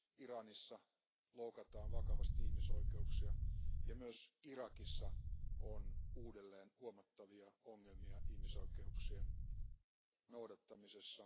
Iranissa loukataan vakavasti ihmisoikeuksia, ja myös Irakissa on uudelleen huomattavia ongelmia ihmisoikeuksien noudattamisessa.